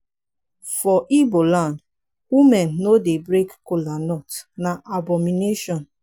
for ibo land women no dey break colanut na abomination.